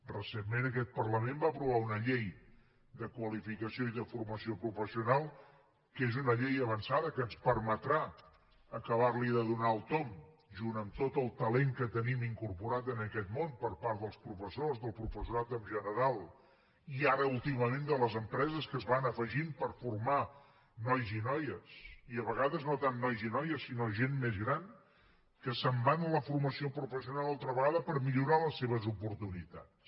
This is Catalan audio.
recentment aquest parlament va aprovar una llei de qualificació i de formació professional que és una llei avançada que ens permetrà acabarli de donar el tomb junt amb tot el talent que tenim incorporat en aquest món per part dels professors del professorat en general i ara últimament de les empreses que s’hi van afegint per formar nois i noies i a vegades no tant nois i noies sinó gent més gran que se’n van a la formació professional altra vegada per millorar les seves oportunitats